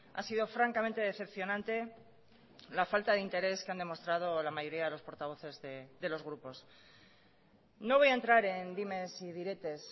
ha sido francamente decepcionante la falta de interés que han demostrado la mayoría de los portavoces de los grupos no voy a entrar en dimes y diretes